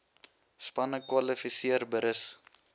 spanne kwalifiseer berus